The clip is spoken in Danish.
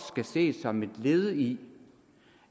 skal ses som et led i